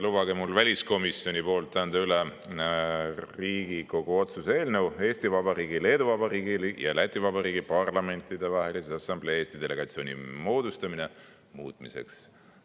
Lubage mul väliskomisjoni poolt anda üle Riigikogu otsuse "Riigikogu otsuse "Eesti Vabariigi, Leedu Vabariigi ja Läti Vabariigi Parlamentidevahelise Assamblee Eesti delegatsiooni moodustamine" muutmine" eelnõu.